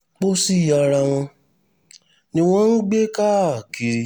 pọ́sí ara wọn ni wọ́n ń gbé káàkiri